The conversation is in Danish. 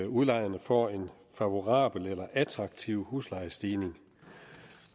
udlejerne får en favorabel eller attraktiv huslejestigning